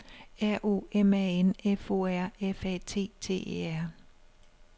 R O M A N F O R F A T T E R